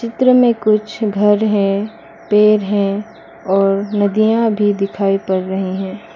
चित्र में कुछ घर हैं पेड़ हैं और नदियां भी दिखाई पड़ रहीं हैं।